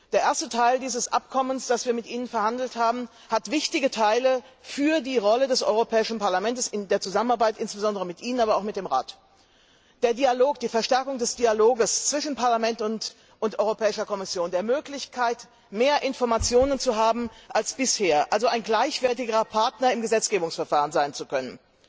Der erste Teil dieses Abkommens, das wir mit Ihnen verhandelt haben, enthält wichtige Teile für die Rolle des Europäischen Parlaments in der Zusammenarbeit, insbesondere mit Ihnen, aber auch mit dem Rat Die Verstärkung des Dialogs zwischen Parlament und Europäischer Kommission, die Möglichkeit, mehr Informationen als bisher zu erhalten, also ein gleichwertigerer Partner im Gesetzgebungsverfahren sein zu können,